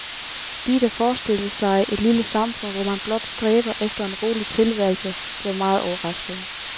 De, der forestillede sig et lille samfund, hvor man blot stræber efter en rolig tilværelse, blev meget overraskede.